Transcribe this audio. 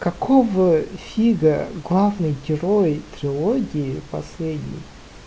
какого фига главный герой трилогии последний